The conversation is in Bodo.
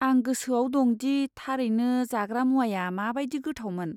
आं गोसोआव दं दि थारैनो जाग्रा मुवाया माबादि गोथावमोन।